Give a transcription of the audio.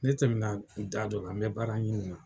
Ne tɛmɛ na da dɔ la , n bɛ baara ɲini na.